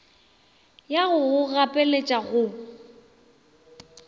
ya go go gapeletša go